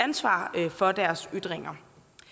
for personer